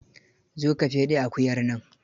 Zo ka feɗe akuyar nan.